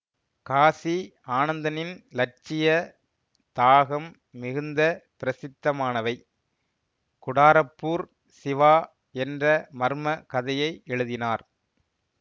காசி ஆனந்தனின் இலட்சிய தாகம் மிகுந்த பிரசித்தமானவை குடாரப்பூர் சிவா என்ற மர்ம கதையை எழுதினார்